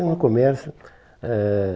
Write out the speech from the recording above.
Sim, no comércio. É